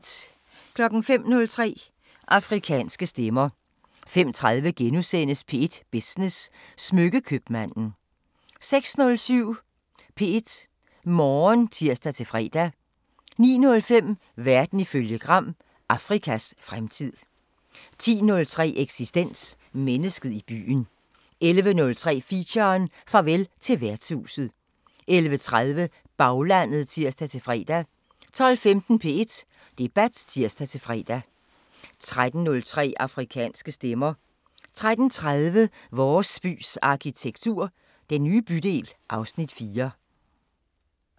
05:03: Afrikanske Stemmer 05:30: P1 Business: Smykke-købmanden * 06:07: P1 Morgen (tir-fre) 09:05: Verden ifølge Gram: Afrikas fremtid 10:03: Eksistens: Mennesket i byen 11:03: Feature: Farvel til værtshuset 11:30: Baglandet (tir-fre) 12:15: P1 Debat (tir-fre) 13:03: Afrikanske Stemmer 13:30: Vores bys arkitektur – Den nye bydel (Afs. 4)